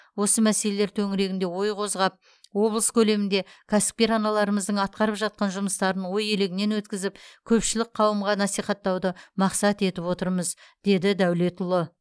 осы мәселелер төңірегінде ой қозғап облыс көлемінде кәсіпкер аналарымыздың атқарып жатқан жұмыстарын ой елегінен өткізіп көпшілік қауымға насихаттауды мақсат етіп отырмыз деді дәулетұлы